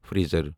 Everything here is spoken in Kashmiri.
فریٖزر